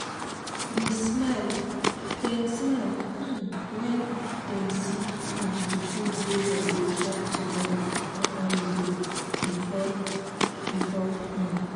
dem smile um when dem see um the food we dem dey chop together for holiday before-before um